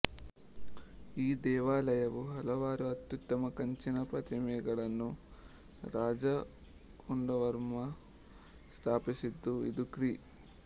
ಈ ದೇವಾಲಯವು ಹಲವಾರು ಅತ್ಯುತ್ತಮ ಕಂಚಿನ ಪ್ರತಿಮೆಗಳನ್ನು ರಾಜ ಕುಂದವರ್ಮ ಸ್ಥಾಪಿಸಿದ್ದು ಇದು ಕ್ರಿ